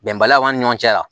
Bɛnbaliya ni ɲɔgɔn cɛ yan